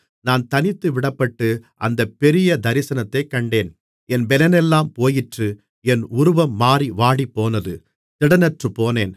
நான் தனித்துவிடப்பட்டு அந்தப் பெரிய தரிசனத்தைக் கண்டேன் என் பெலனெல்லாம் போயிற்று என் உருவம் மாறி வாடிப்போனது திடனற்றுப்போனேன்